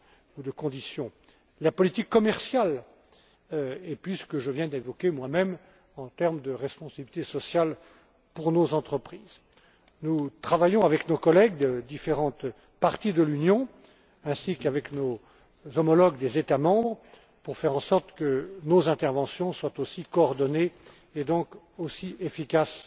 ou de conditions la politique commerciale, et puis, ce que je viens d'évoquer moi même en termes de responsabilité sociale pour nos entreprises. Nous travaillons avec nos collègues de différentes parties de l'Union, ainsi qu'avec nos homologues des États membres, pour que nos interventions soient aussi coordonnées et donc aussi efficaces